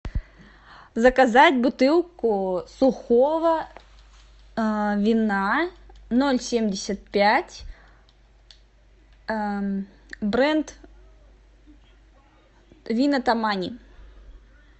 заказать бутылку сухого вина ноль семьдесят пять бренд вина тамани